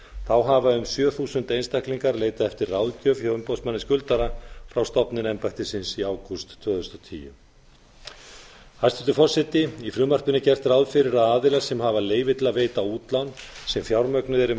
þá hafa um sjö þúsund einstaklingar leitað eftir ráðgjöf hjá umboðsmanni skuldara frá stofnun embættisins í ágúst tvö þúsund og tíu hæstvirtur forseti í frumvarpinu er gert ráð fyrir að aðilar sem hafa leyfi til að veita útlán sem fjármögnuð eru með